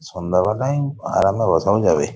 সন্ধ্যাবেলায় উম আরামে বসাও যাবে।